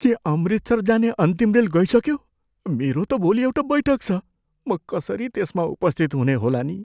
के अमृतसर जाने अन्तिम रेल गइसक्यो? मेरो त भोलि एउटा बैठक छ, म कसरी त्यसमा उपस्थित हुनेहोला नि?